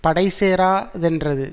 படை சேரா தென்றது